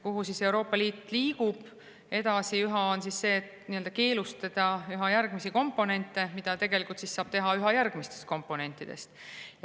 Ja Euroopa Liit siis liigub edasi sinna, et keelustada üha järgmisi komponente, mida tegelikult saab teha üha järgmistest komponentidest.